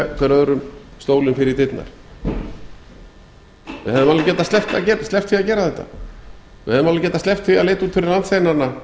hver öðrum stólinn fyrir dyrnar við hefðum alveg getað sleppt því að gera þetta við hefðum alveg getað sleppt því að leita út fyrir landsteinana